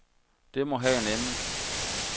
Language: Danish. Det må have en ende.